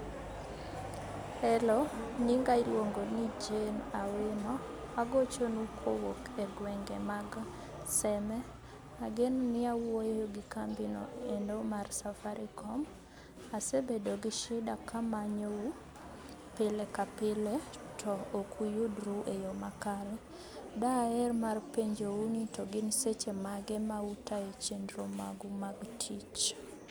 Hello nyinga iluonggoni Jane Auma agochonu kowuok egwenge maga seme. Agenoni awuoyogi kambino endo mar safaricom asebedo gi shida kamanyou pile kapile to ok uyudru eyoo makare daher mar penjou ni togin seche mage ma utayo chenro magu mag tich?